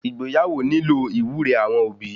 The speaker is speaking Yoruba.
Ìgbéyàwó nílò iwúre awọn obi